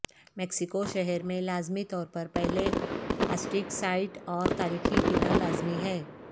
Mexico شہر میں لازمی طور پر پہلے ازٹیک سائٹ اور تاریخی قلعہ لازمی ہے